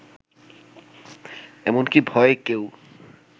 এমনকি ভয়ে কেউ